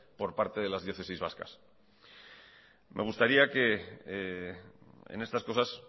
por parte de las diócesis vascas me gustaría que en estas cosas